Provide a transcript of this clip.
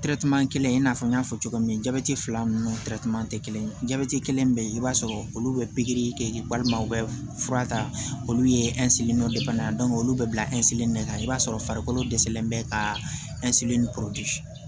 kelen i n'a fɔ n y'a fɔ cogo min jabɛti fila nunnu te kelen ye kelen be yen i b'a sɔrɔ olu be pikiri kɛ walima u bɛ fura ta olu ye olu bɛ bila de kan i b'a sɔrɔ farikolo dɛsɛlen bɛ ka ni